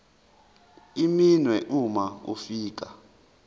iminwe uma ufika